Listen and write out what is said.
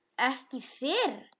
Ekki fyrr?